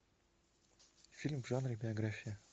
фильм в жанре биография